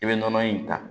I bɛ nɔnɔ in ta